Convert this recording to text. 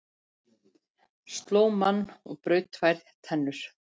Sló mann og braut tvær tennur